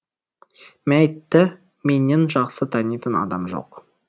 мәйітті менен жақсы танитын адам жоқ